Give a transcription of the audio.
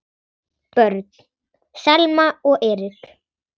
Börn: Selma og Erik.